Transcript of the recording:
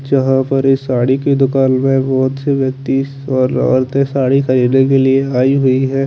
जहाँ पर साडी की दूकान में बहोत से व्यक्ति ओरते साडी खरीदने के लिये यहाँ आई हुई है।